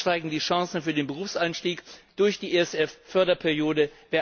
Darüber hinaus steigen die Chancen für den Berufseinstieg durch die erste Förderperiode.